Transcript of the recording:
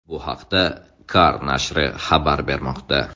Bu haqda Car nashri xabar bermoqda.